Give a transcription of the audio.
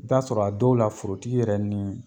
I bɛ t'a sɔrɔ , a dɔw la, forotigi yɛrɛ ni